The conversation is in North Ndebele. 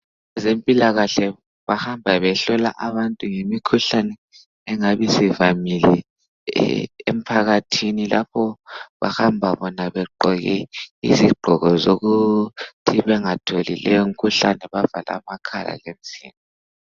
Abezempilakahle bahamba behlola abantu ngemikhuhlane engabe isivamile emphakathini. Bahamba begqoke izigqoko zokuthi bengatholi leyo mikhuhlane bavale amakhala lemizimba.